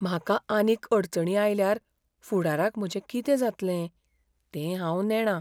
म्हाका आनीक अडचणी आयल्यार फुडाराक म्हजें कितें जातलें तें हांव नेणां.